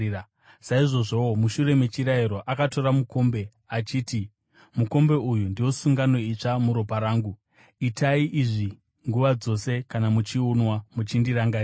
Saizvozvowo, mushure mechirariro akatora mukombe, achiti, “Mukombe uyu ndiwo sungano itsva muropa rangu; itai izvi nguva dzose kana muchiunwa, muchindirangarira.”